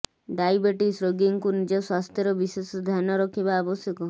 diabetes ରୋଗୀଙ୍କୁ ନିଜ ସ୍ୱାସ୍ଥ୍ୟର ବିଶେଷ ଧ୍ୟାନ ରଖିବା ଆବଶ୍ୟକ